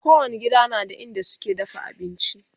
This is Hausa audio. kowani gida na da inda suke dafa abinci